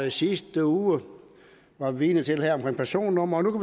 i sidste uge var vidne til det med personnumre og nu